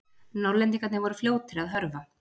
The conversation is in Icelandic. Norðlendingarnir voru fljótir að hörfa.